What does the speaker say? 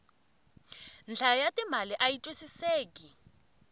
nhlayo ya timali ayi twisiseki